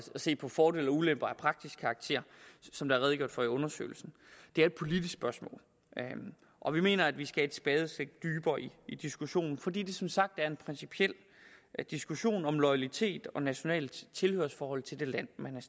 se på fordele og ulemper af praktisk karakter som der er redegjort for i undersøgelsen det er et politisk spørgsmål og vi mener at vi skal et spadestik dybere i diskussionen fordi det som sagt er en principiel diskussion om loyalitet og nationalt tilhørsforhold til det land man